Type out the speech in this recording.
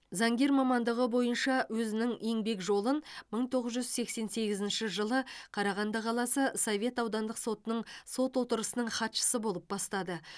заңгер мамандығы бойынша өзінің еңбек жолын мың тоғыз жүз сексен сегізінші жылы қарағанды қаласы совет аудандық сотының сот отырысының хатшысы болып бастады